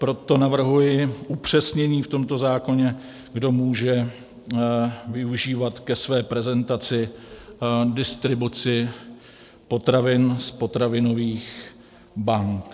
Proto navrhuji upřesnění v tomto zákoně, kdo může využívat ke své prezentaci distribuci potravin z potravinových bank.